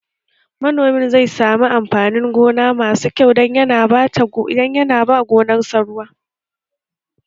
Manomin zai sami amfanin gona masu kyau don yana ta ba gonar sa ruwa